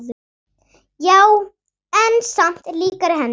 Já, en samt líkari henni.